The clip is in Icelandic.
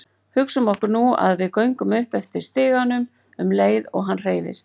Hugsum okkur nú að við göngum upp eftir stiganum um leið og hann hreyfist.